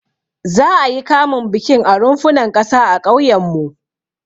Za'a yi kamun bikin a runfunan ƙasa a ƙauyenmu.